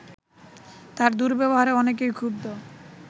তার দুর্ব্যবহারে অনেকেই ক্ষুব্ধ